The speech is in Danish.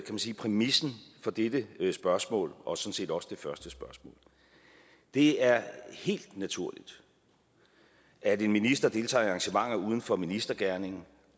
man sige præmissen for dette spørgsmål og sådan set også det første spørgsmål det er helt naturligt at en minister deltager i arrangementer uden for ministergerningen